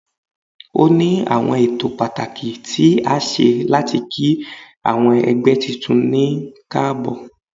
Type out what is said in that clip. O ni awọn ẹtọ patakí tí a ṣe latí kí awọn ẹgbẹ titun ní kaabo.